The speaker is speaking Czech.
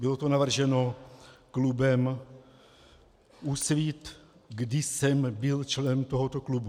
Bylo to navrženo klubem Úsvit, kdy jsem byl členem tohoto klubu.